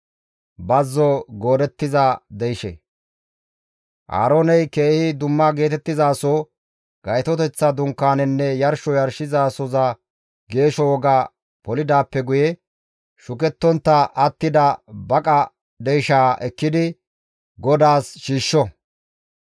«Aarooney keehi dumma geetettizaso, Gaytoteththa Dunkaanenne yarsho yarshizasoza geesho woga polidaappe guye shukettontta attida baqa deyshaa ekkidi GODAAS shiishsho.